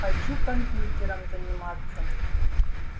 хочу компьютером заниматься